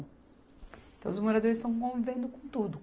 Então, os moradores estão convivendo com tudo.